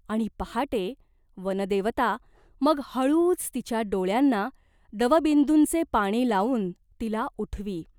आणि पहाटे वनदेवता मग हळूच तिच्या डोळ्यांना दवबिंदूंचे पाणी लावून तिला उठवी.